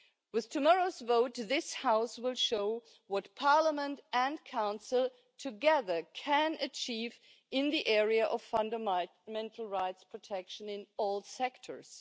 Through tomorrow's vote, this House will show what Parliament and the Council together can achieve in the area of fundamental rights protection in all sectors.